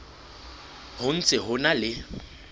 ho ntse ho na le